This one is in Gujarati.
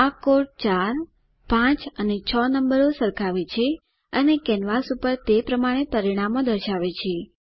આ કોડ 4 5 અને 6 નંબરો સરખાવે છે અને કેનવાસ પર તે પ્રમાણે પરિણામો દર્શાવે છે